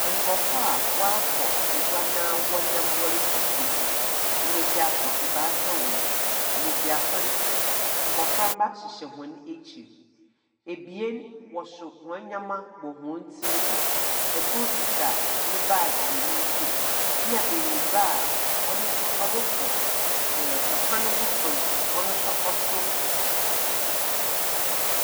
Nkorɔfo a wɔakɔ gua na wɔnam wɔrekɔ fie, mbesiafo ebaasa wɔ mu. Mbesiafo no, mboframba hyehyɛ hɔn ekyir. Ebien so hɔn ndzemba wɔ hɔn tiri do. Kor kita ne baage wɔ ne nsamu, na benyinba a ɔno nso ɔrokɔ ɛɛ Kwan fofor ɔno nso ɔso .